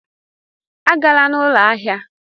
Agala na ụlọ ahịa!